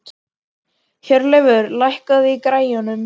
Hjörleifur, lækkaðu í græjunum.